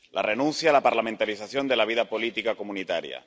La renuncia a la parlamentarización de la vida política comunitaria.